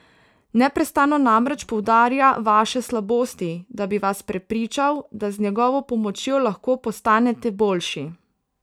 Neprestano namreč poudarja vaše slabosti, da bi vas prepričal, da z njegovo pomočjo lahko postanete boljši.